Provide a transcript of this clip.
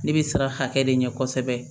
Ne bɛ siran hakɛ de ɲɛ kosɛbɛ